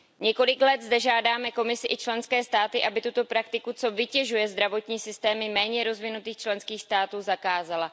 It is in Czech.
Několik let zde žádáme Komisi i členské státy, aby tuto praktiku, co vytěžuje zdravotní systémy méně rozvinutých členských států, zakázala.